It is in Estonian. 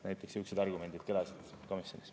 Näiteks sihukesed argumendid kõlasid komisjonis.